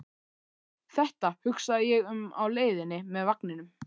Þetta hugsa ég um á leiðinni með vagninum.